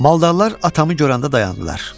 Maldarlar atamı görəndə dayandılar.